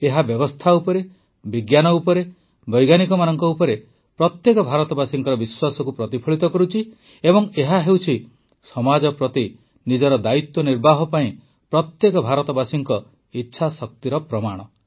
ଏହା ବ୍ୟବସ୍ଥା ଉପରେ ବିଜ୍ଞାନ ଉପରେ ବୈଜ୍ଞାନିକମାନଙ୍କ ଉପରେ ପ୍ରତ୍ୟେକ ଭାରତବାସୀଙ୍କ ବିଶ୍ୱାସକୁ ପ୍ରତିଫଳିତ କରୁଛି ଏବଂ ଏହା ହେଉଛି ସମାଜ ପ୍ରତି ନିଜର ଦାୟିତ୍ୱ ନିର୍ବାହ ପାଇଁ ପ୍ରତ୍ୟେକ ଭାରତବାସୀର ଇଚ୍ଛାଶକ୍ତିର ପ୍ରମାଣ